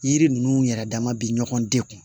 Yiri ninnu yɛrɛ dama bɛ ɲɔgɔn dekun